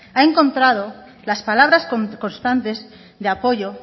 ha encontrado las palabras constantes de apoyo